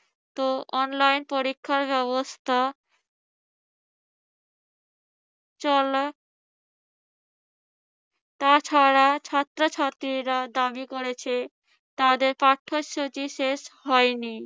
তো online পরীক্ষার ব্যবস্থা চলে তাছাড়া ছাত্রছাত্রীরা দাবি করেছে তাদের পাঠ্যসূচি শেষ হয়নি।